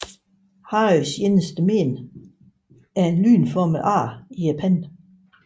Harrys eneste mén er et lynformet ar i panden